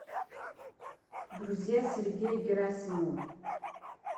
друзья сергея герасимова